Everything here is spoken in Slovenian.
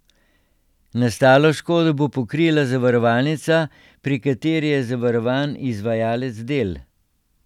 Nastalo škodo bo pokrila zavarovalnica, pri kateri je zavarovan izvajalec del.